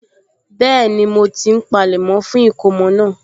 Bẹ́ẹ̀ni, mo ti ń palẹ̀mọ́ fún ìkómọ náà